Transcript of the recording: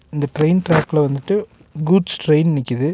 இந்த ட்ரெயின் டிராக்ல வந்துட்டு கூட்ஸ் ட்ரெயின் நிக்குது.